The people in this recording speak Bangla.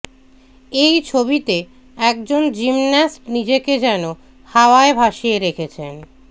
এই ছবিতে একজন জিমন্যাস্ট নিজেকে যেন হাওয়ায় ভাসিয়ে রেখেছেন